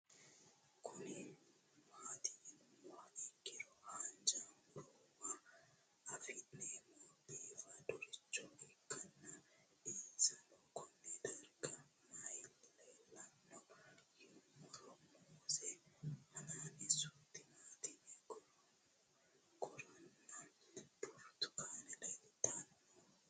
Kuni mati yinumoha ikiro hanja murowa afine'mona bifadoricho ikana isino Kone darga mayi leelanno yinumaro muuze hanannisu timantime gooranna buurtukaane leelitoneha